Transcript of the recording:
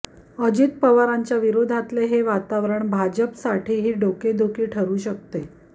अजित पवारांच्या विरोधातले हे वातावरण भाजपसाठीही डोकदुखी ठरू शकते